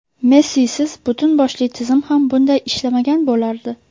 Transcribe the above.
Messisiz butun boshli tizim ham bunday ishlamagan bo‘lardi.